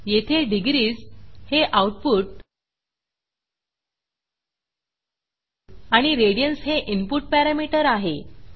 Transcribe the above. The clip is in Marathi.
येथे डिग्रीज हे आऊटपुट आणि रेडियन्स हे इनपुट पॅरामीटर आहे